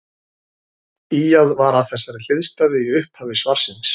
Ýjað var að þessari hliðstæðu í upphafi svarsins.